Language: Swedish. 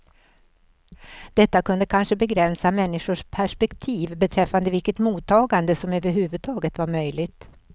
Detta kunde kanske begränsa människors perspektiv beträffande vilket mottagande som överhuvudtaget var möjligt.